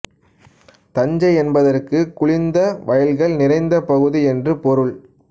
தஞ்சை என்பதற்கு குளிர்ந்த வயல்கள் நிறைந்த பகுதி என்று பொருள்